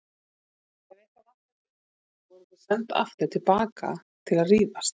Ef eitthvað vantaði upp á vorum við sendar aftur til baka til að rífast.